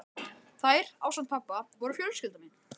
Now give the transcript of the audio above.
Þær, ásamt pabba, voru fjölskylda mín.